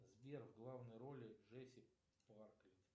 сбер в главной ролли джесси парклит